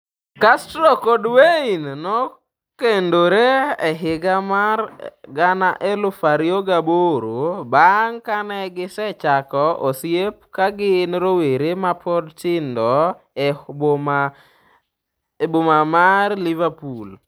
Castro kod Wayne nokendore e higa 2008 bang ' kane gisechako osiep ka gin rowere ma pod tindo e boma mar Liverpool.